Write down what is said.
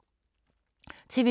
TV 2